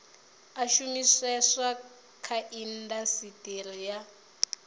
a shumiseswa kha indasiteri ya